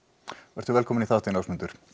vertu velkominn í þáttinn Ásmundur